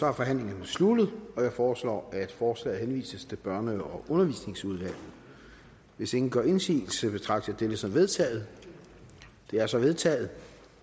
er forhandlingen sluttet jeg foreslår at forslaget henvises til børne og undervisningsudvalget hvis ingen gør indsigelse betragter jeg dette som vedtaget det er så vedtaget